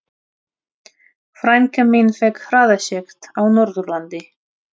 Frænka mín fékk hraðasekt á Norðurlandi.